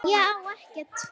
Ég á ekkert.